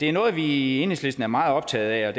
er noget vi i enhedslisten er meget optaget af og